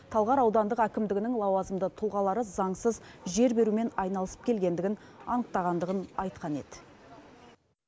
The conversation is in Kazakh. талғар аудандық әкімдігінің лауазымды тұлғалары заңсыз жер берумен айналысып келгендігін анықтағандығын айтқан еді